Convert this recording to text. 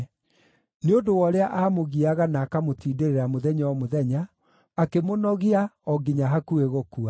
Nĩ ũndũ wa ũrĩa aamũgiaga na akamũtindĩrĩra mũthenya o mũthenya, akĩmũnogia o nginya hakuhĩ gũkua.